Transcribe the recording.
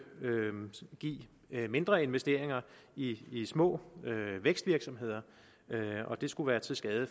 give mindre investeringer i i små vækstvirksomheder og at den skulle være til skade